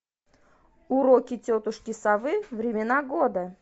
уроки тетушки совы времена года